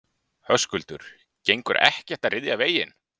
Höskuldur: Gengur ekkert að ryðja veginn?